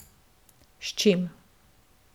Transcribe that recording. S čim.